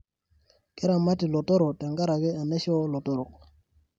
Keramati lotorok tenkaraki enaisho olotorok.